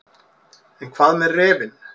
En hvað með refinn.